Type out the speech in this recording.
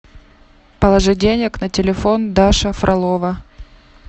положи денег на телефон даша фролова